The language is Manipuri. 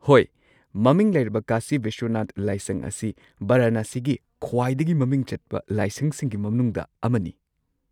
ꯍꯣꯏ꯫ ꯃꯃꯤꯡ ꯂꯩꯔꯕ ꯀꯥꯁꯤ ꯕꯤꯁ꯭ꯋꯅꯥꯊ ꯂꯥꯏꯁꯪ ꯑꯁꯤ ꯕꯔꯥꯅꯥꯁꯤꯒꯤ ꯈ꯭ꯋꯥꯏꯗꯒꯤ ꯃꯃꯤꯡ ꯆꯠꯄ ꯂꯥꯏꯁꯪꯁꯤꯡꯒꯤ ꯃꯅꯨꯡꯗ ꯑꯃꯅꯤ꯫